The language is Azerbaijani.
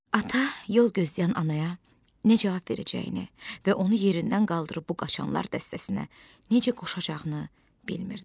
Ata yol gözləyən anaya nə cavab verəcəyini və onu yerindən qaldırıb bu qaçanlar dəstəsinə necə qoşacağını bilmirdi.